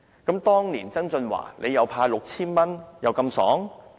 那麼，當年曾俊華"派 "6,000 元又這麼疏爽？